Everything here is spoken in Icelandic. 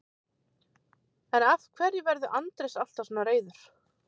en af hverju verður andrés alltaf svona reiður